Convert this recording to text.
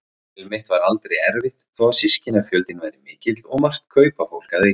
Heimili mitt var aldrei erfitt þó að systkinafjöldinn væri mikill og margt kaupafólk að auki.